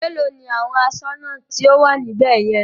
Mélòó ni àwọn aṣọ́nà tí ó wà níbè yẹn?